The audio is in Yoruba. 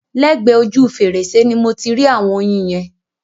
Lẹ́gbẹ ojú fèrèsé ni mo ti rí ạ̀wọn oyin yẹn.